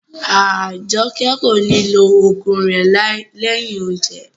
Ajoke ko ni lo ogun rẹ lẹyìn oúnjẹ.